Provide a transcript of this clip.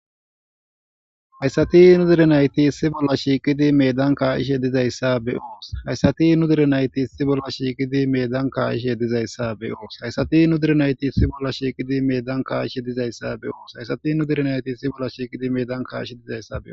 Hayssati nu dirinayti si bolla shiiqidi medan kaishe dizayssa be oos hayssati nu direnayti si bolla shiiqidi medan kaaishe dizayssa be oos hayssati nu dirinayti isi bolla shiiqidi medan kaaishe dizayssa be oos hayssati nu direnayti isi bolla shiqidi medan kaishe dizayssaeo.